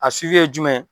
A ye jumɛn ye